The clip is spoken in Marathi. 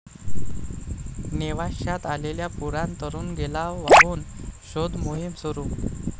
नेवाश्यात आलेल्या पुरात तरुण गेला वाहून, शोधमोहीम सुरू